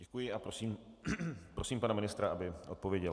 Děkuji a prosím pana ministra, aby odpověděl.